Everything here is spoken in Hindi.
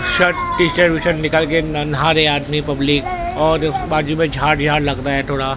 shirt T shirt V shirt निकाल के कर नहा रहे हैं आदमी पब्लिक और बाजू में झाग झाग लग रहा है थोड़ा--